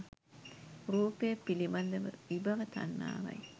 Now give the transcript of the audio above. රූපය පිළිබඳ විභව තණ්හාවයි.